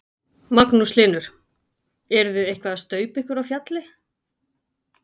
Magnús Hlynur: Eruð þið eitthvað að staupa ykkur á fjalli?